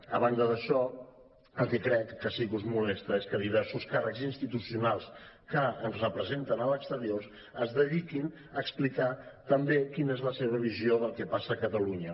a banda d’això el que crec que sí que us molesta és que diversos càrrecs institucionals que ens representen a l’exterior es dediquin a explicar també quina és la seva visió del que passa a catalunya